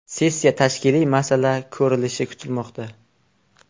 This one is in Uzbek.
Sessiya tashkiliy masala ko‘rilishi kutilmoqda.